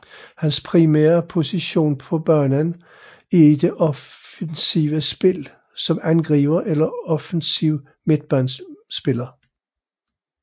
Hans primære position på banen er i det offensive spil som angriber eller offensiv midtbanespiller